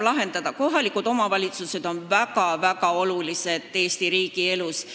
Kohalikud omavalitsused on Eesti riigis väga-väga olulised.